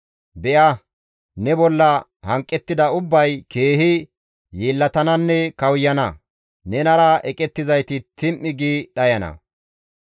«Be7a ne bolla hanqettida ubbay keehi yeellatananne kawuyana; nenara eqettizayti tim7i gi dhayana.